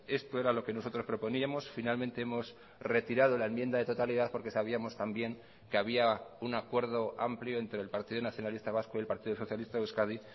esto era lo que nosotros proponíamos finalmente hemos retirado la enmienda de totalidad porque sabíamos también que había un acuerdo amplio entre el partido nacionalista vasco y el partido socialista de euskadi